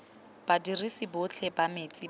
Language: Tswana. badirisi botlhe ba metsi ba